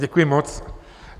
Děkuji moc.